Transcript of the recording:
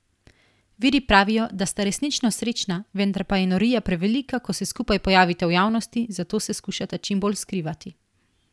Viri pravijo, da sta resnično srečna, vendar pa je norija prevelika, ko se skupaj pojavita v javnosti, zato se skušata čim bolj skrivati.